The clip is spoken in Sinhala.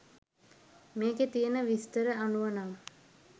මේකේ තියන විස්තර අනුව නම්